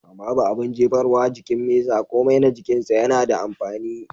Babu abun jefarwa a jikin mesa komai na jikin shi yana da amfani.